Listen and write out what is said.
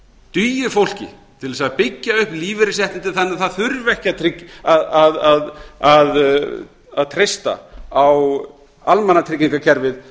dugi fólki til þess að byggja upp lífeyrisréttindi þannig að það þurfi ekki að treysta á almannatryggingakerfið